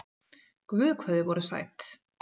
Guð hvað þið voruð sæt!